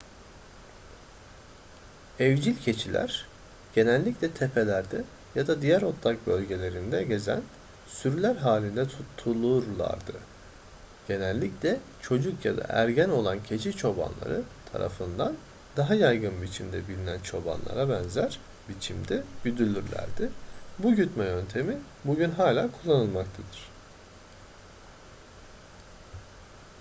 evcil keçiler genellikle tepelerde ya da diğer otlak bölgelerinde gezen sürüler halinde tutulurlardı genellikle çocuk ya da ergen olan keçi çobanları tarafından daha yaygın biçimde bilinen çobanlara benzer biçimde güdülürlerdi bu gütme yöntemi bugün hala kullanılmaktadır